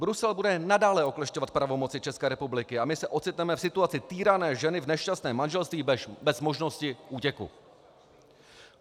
Brusel bude nadále oklešťovat pravomoci České republiky a my se ocitneme v situaci týrané ženy v nešťastném manželství bez možnosti útěku.